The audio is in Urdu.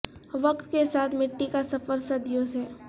وقت کے ساتھ ہے مٹی کا سفر صدیوں سے